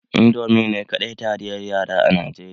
Indomie ne kaɗai taliyar yara a Najeriya?